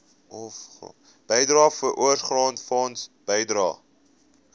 bydrae voorsorgfonds bydrae